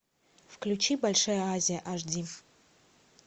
включи большая азия аш ди